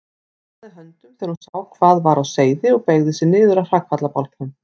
Fórnaði höndum þegar hún sá hvað var á seyði og beygði sig niður að hrakfallabálknum.